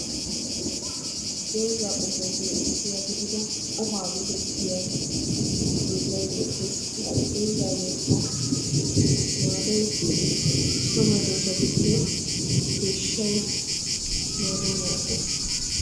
doozza qomuwappe issuwa gidida ohaa giyo dozzay beettessi ha dozzayokka maadoy so medossatuppe deyshay maanayo maadessi.